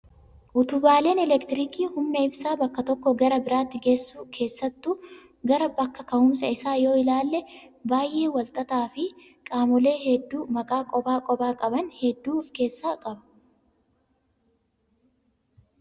Utubaaleen elektiriikii humna ibsaa bakka tokkoo gara biraatti geessu keessattuu gara bakka ka'umsa isaa yoo ilaalle, baay'ee wal xaxaa fi qaamolee hedduu maqaa kophaa kophaa qaban hedduu of keessaa qaba.